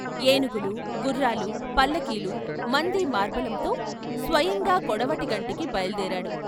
ఏనుగులు, గుర్రాలు, పల్లకీలుమంది మార్బలంతో స్వయంగా కొడవటిగంటికి బయలు దేరాడు.